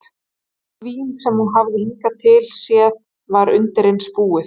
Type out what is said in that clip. Allt vín sem hún hafði hingað til séð var undireins búið.